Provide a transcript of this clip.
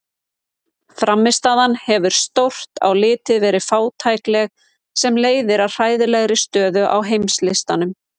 Frammistaðan hefur stórt á litið verið fátækleg sem leiðir að hræðilegri stöðu á heimslistanum.